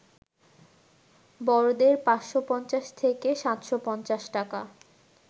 বড়দের ৫৫০ থেকে ৭৫০ টাকা